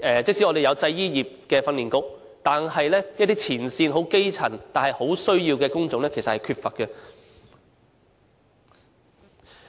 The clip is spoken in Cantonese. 即使我們有製衣業的訓練局，但是一些前線、基層但很需要的工種，卻是很缺乏的。